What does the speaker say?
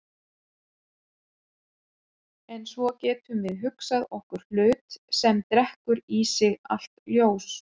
En svo getum við hugsað okkur hlut sem drekkur í sig allt ljós.